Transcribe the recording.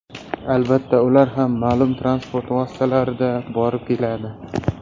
Albatta, ular ham ma’lum transport vositalarida borib-keladi.